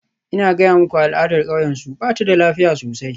Ina gaya muku al'adar kauyensu, ba ta da lafiya sosai.